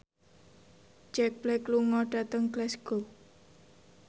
Jack Black lunga dhateng Glasgow